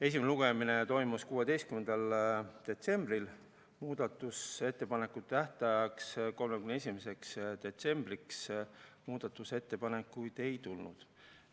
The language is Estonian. Esimene lugemine toimus 16. detsembril, muudatusettepanekute tähtajaks, 31. detsembriks muudatusettepanekuid ei tulnud.